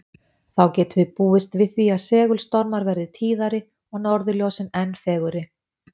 Þá getum við búist við því að segulstormar verði tíðari og norðurljósin enn fegurri.